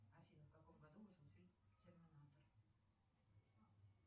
афина в каком году вышел фильм терминатор